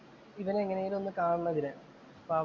ഇവനെ എങ്ങനെയെങ്കിലും കാണണം ഇതിന്. അപ്പൊ അവന്‍